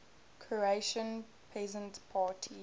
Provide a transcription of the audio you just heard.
croatian peasant party